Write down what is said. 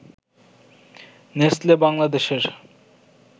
Nestle বাংলাদেশের